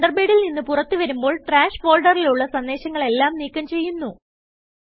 തണ്ടർബേഡിൽ നിന്ന് പുറത്ത് വരുമ്പോൾ ട്രാഷ് ഫോൾഡറിലുള്ള സന്ദേശങ്ങളെല്ലാം നീക്കം ചെയ്യുന്നു